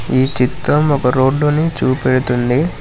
ఈ చిత్రం ఒక రోడ్డుని చూపెడుతుంది.